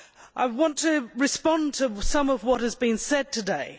I want to respond to some of what has been said today.